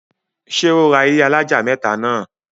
ṣé ó ra ilẹ́ alájà mẹ́tà náà?